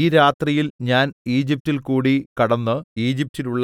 ഈ രാത്രിയിൽ ഞാൻ ഈജിപ്റ്റിൽകൂടി കടന്ന് ഈജിപ്റ്റിലുള്ള